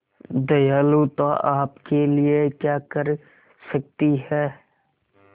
दयालुता आपके लिए क्या कर सकती है